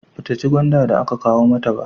Ba ta ci gwanda da aka kawo mata ba